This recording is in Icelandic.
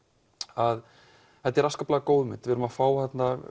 að þetta er afskaplega góð mynd við erum að fá